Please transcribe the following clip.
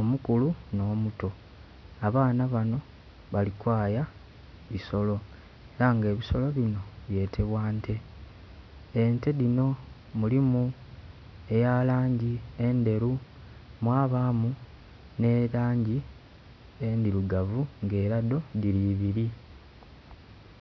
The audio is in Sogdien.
omukulu no muto abaana bano bali kwaya ebisolo era nga ebisolo bino byetebwa nte, ente dhino mulimu eya langi endheru mwabamu nhe langi endhirugavu nga era dholige dhiri ebiri.